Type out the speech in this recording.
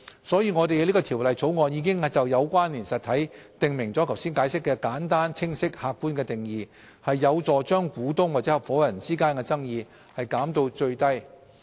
所以，我們在《條例草案》已就"有關連實體"訂明了剛才解釋的簡單、清晰而客觀的定義，有助將股東或合夥人間的爭議減到最低。